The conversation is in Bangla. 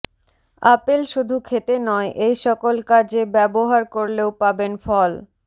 আপেল শুধু খেতে নয় এই সকল কাজে ব্যবহার করলেও পাবেন ফল